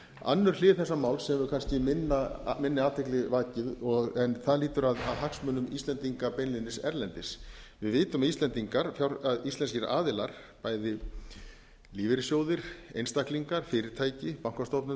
önnur hlið þessa mál sem hefur kannski minni athygli vakið það lýtur að hagsmunum íslendinga beinlínis erlendis við vitum að íslendingar íslenskir aðilar bæði lífeyrissjóðir einstaklingar fyrirtæki bankastofnanir